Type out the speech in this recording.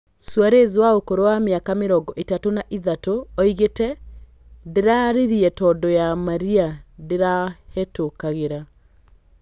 Suarez wa ũkũrũ wa mĩaka mĩrongo ĩtatũ na ithatũ oigĩte "ndĩrarĩrire tondũ ya marĩa ndĩrahetũkagĩra"